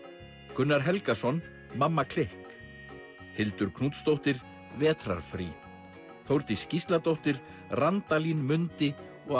Gunnar Helgason mamma klikk Hildur Knútsdóttir vetrarfrí Þórdís Gísladóttir Randalín mundi og